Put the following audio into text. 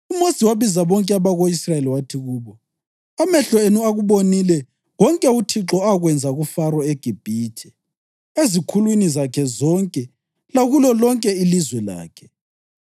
UMosi wabiza bonke abako-Israyeli wathi kubo: “Amehlo enu akubonile konke uThixo akwenza kuFaro eGibhithe, ezikhulwini zakhe zonke lakulo lonke ilizwe lakhe.